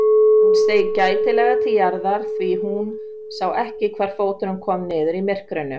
Hún steig gætilega til jarðar því hún sá ekki hvar fóturinn kom niður í myrkrinu.